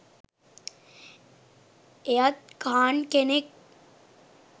එයත් ඛාන් කෙනෙක්